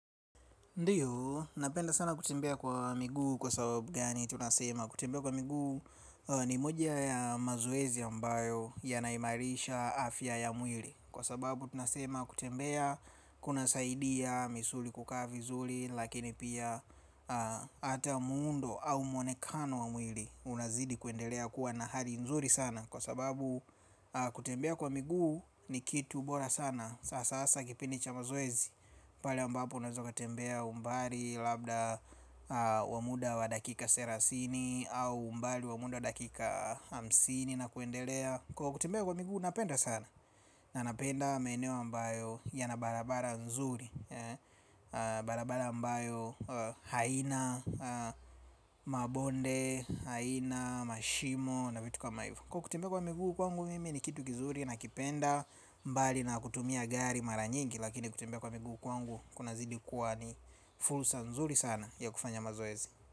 Ndiyo, napenda sana kutembea kwa miguu kwa sababu gani tunasema. Kutembea kwa miguu ni moja ya mazoezi ambayo yanaimarisha afya ya mwili. Kwa sababu tunasema kutembea kunasaidia misuli kukaa vizuri. Lakini pia hata muundo au mwonekano wa mwili unazidi kuendelea kuwa na hali nzuri sana. Kwa sababu kutembea kwa miguu ni kitu bora sana. Sasa kipindi cha mazoezi pale ambapo unaweza ukatembea umbali. Labda wa muda wa dakika serasini. Au umbali wa muda wa dakika hamsini na kuendelea. Kwa kutembea kwa miguu napenda sana. Na napenda maeneo ambayo yana barabara nzuri. Barabara ambayo Haina Mabonde Haina Mashimo na vitu kama hivo. Kwa kutembea kwa miguu kwangu mimi ni kitu kizuri. Nakipenda mbali na kutumia gari. Mara nyingi lakini kutembea kwa miguu kwangu kunazidi kuwa ni fursa nzuri sana ya kufanya mazoezi.